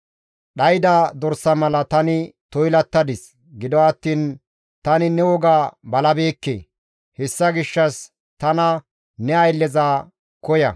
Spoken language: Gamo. Dhayda dorsa mala tani toylattadis; gido attiin tani ne woga balabeekke; hessa gishshas tana ne aylleza koya.